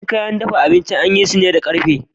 Yawancin kayan dafa abinci an yi su ne da ƙarfe